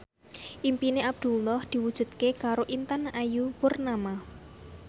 impine Abdullah diwujudke karo Intan Ayu Purnama